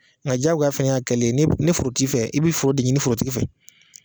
Ŋa diyagoya fɛnɛ y'a kɛlen ni b ni foro t'i fɛ i bi foro de ɲini forotigi fɛ.